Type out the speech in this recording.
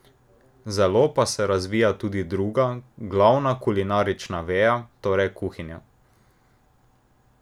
Zelo pa se razvija tudi druga, glavna kulinarična veja, torej kuhinja.